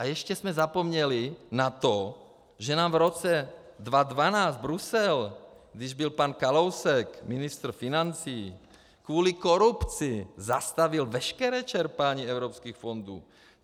A ještě jsme zapomněli na to, že nám v roce 2012 Brusel, když byl pan Kalousek ministr financí, kvůli korupci zastavil veškeré čerpání evropských fondů.